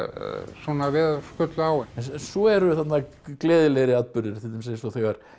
svona veður skullu á svo eru þarna gleðilegri atburðir til dæmis eins og þegar